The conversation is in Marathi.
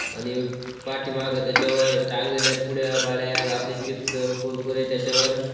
आणि पाठीमाग त्याच्यावर टांगलेल्या पुड्या पाड्या आपल्या चिप्स कुरकुरे त्याच्यावर--